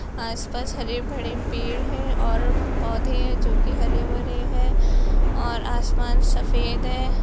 आस-पास हरे-भडे पेड़ हैं और पौधे हैं जो की हरे-भरे हैं और आसमान सफेद है।